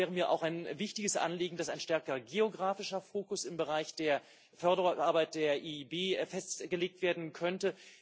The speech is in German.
Es wäre mir auch ein wichtiges Anliegen, dass ein stärkerer geografischer Fokus im Bereich der Arbeit der EIB festgelegt werden könnte.